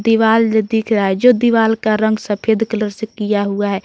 दीवाल जो दिख रहा है जो दीवाल का रंग सफेद कलर से किया हुआ है।